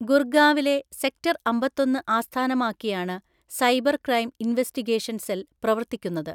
ഗുർഗാവിലെ sector അമ്പത്തൊന്ന് ആസ്ഥാനമാക്കിയാണ് cyber crime investigation cell പ്രവർത്തിക്കുന്നത്.